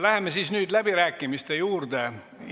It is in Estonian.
Läheme läbirääkimiste juurde!